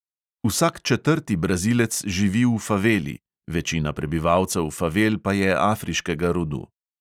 Vsak četrti brazilec živi v faveli, večina prebivalcev favel pa je afriškega rodu.